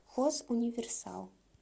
хозуниверсал